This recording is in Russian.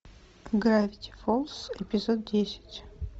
гравити фолз эпизод десять